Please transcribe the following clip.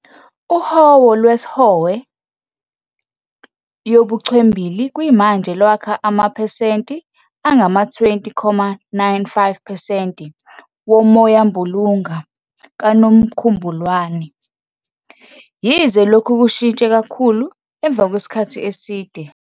UHowo lwesOhwe yobuchwembili kuyimanje lwakha amaphesenti angama-20.95 percent woMoyambulunga kaNomkhubulwane, yize lokhu kushintshe kakhulu emva kwesikhathi eside.